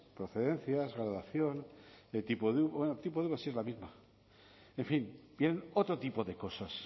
procedencias graduación tipo de uva bueno tipo de uva sí es la misma en fin vienen otro tipo de cosas